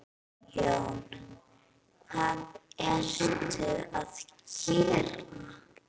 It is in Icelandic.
Jón: Hvað ertu að gera?